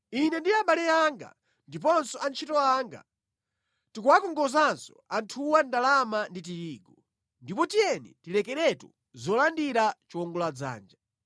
Ine ndi abale anga ndiponso antchito anga tikuwakongozanso anthuwa ndalama ndi tirigu. Ndipo tiyeni tilekeretu zolandira chiwongoladzanja!